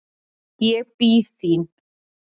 Ég bíð þín.